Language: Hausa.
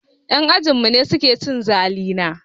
Yan ajinmu ne suke cin zalina.